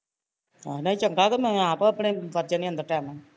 ਆਹ ਨਹੀਂ ਚੰਗਾ ਤੇ ਮੈਂ ਆਪ ਆਪਣੇ ਵੱਡ ਜਾਂਦੀ ਅੰਦਰ ਟੈਮ ਨਾਲ਼